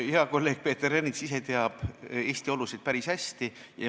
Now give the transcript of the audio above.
Hea kolleeg Peeter Ernits ise teab Eesti olusid päris hästi.